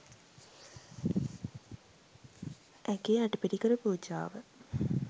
ඇගේ අටපිරිකර පූජාව